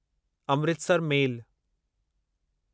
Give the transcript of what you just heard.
Amritsar मेल